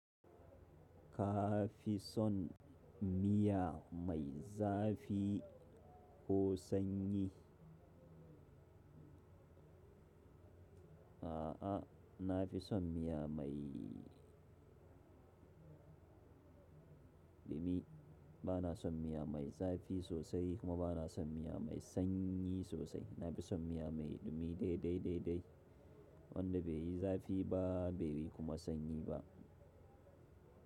Ka fi son miya mai zafi ko sanyi? A'a, na fi son miya mai ɗumi. Bana son miya mai zafi sosai kuma bana son miya mai sanyi sosai. Na fi son miya mai ɗumi dai dai dai dai wanda bai yi zafi ba bai yi kuma sanyi ba.